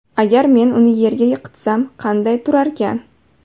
Agar men uni yerga yiqitsam, qanday turarkan?